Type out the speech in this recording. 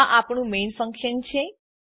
આ આપણું main function છે